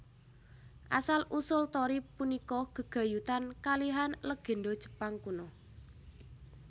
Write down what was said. Asal usul torii punika gegayutan kalihan legènda Jepang kuno